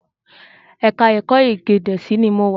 Ẹ̀ka-ẹ̀kọ́ Ede Gèésì ni mo wà.